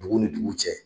Dugu ni dugu cɛ